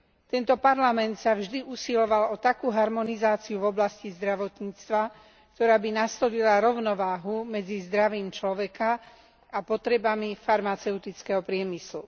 Tento parlament sa vždy usiloval o takú harmonizáciu v oblasti zdravotníctva, ktorá by nastolila rovnováhu medzi zdravím človeka a potrebami farmaceutického priemyslu.